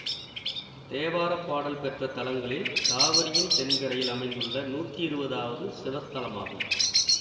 தேவார பாடல் பெற்ற தலங்களில் காவரியின் தென்கரையில் அமைந்துள்ள நூத்தி இருவதாவது சிவத்தலமாகும்